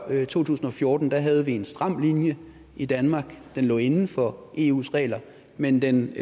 to tusind og fjorten havde vi en stram linje i danmark den lå inden for eus regler men den